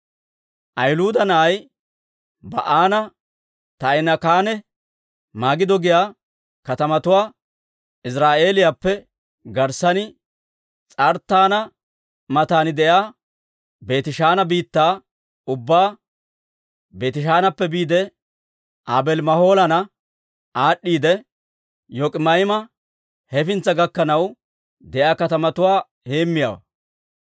Ahiluuda na'ay Ba'aana Taa'inaakkanne Magido giyaa katamatuwaa, Iziraa'eeliyaappe garssan S'arttaana matan de'iyaa Beetishaana biittaa ubbaa, Beetishaanappe biide Aabeeli-Mahoolana aad'd'iidde, Yok'ima'aama hefintsa gakkanaw de'iyaa katamatuwaa heemmiyaawaa.